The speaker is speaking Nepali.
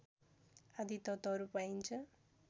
आदि तत्त्वहरू पाइन्छ